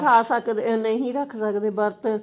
ਖਾ ਸਕਦੇ ਨਹੀ ਰੱਖ ਸਕਦੇ ਵਰਤ